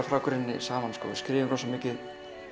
frá grunni saman við skrifum rosa mikið